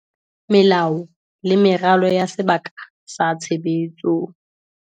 Melao le meralo ya sebaka sa tshebetso